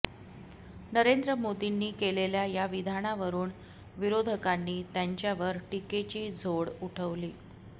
नरेंद्र मोदींनी केलेल्या या विधानावरून विरोधकांनी त्यांच्यावर टीकेची झोड उठवली